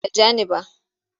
Ba ta ja ni ba.